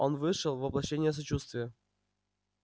он вышел воплощение сочувствия